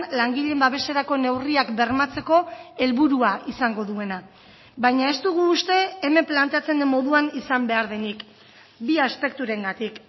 langileen babeserako neurriak bermatzeko helburua izango duena baina ez dugu uste hemen planteatzen den moduan izan behar denik bi aspekturengatik